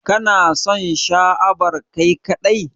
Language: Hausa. Kana son Sha à bar Kai kadai?